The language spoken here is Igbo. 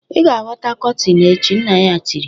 Ị ga-ahọta kotin echi" nna ya tiri